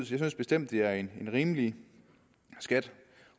synes bestemt det er en rimelig skat